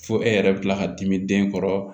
Fo e yɛrɛ bi kila ka dimi den kɔrɔ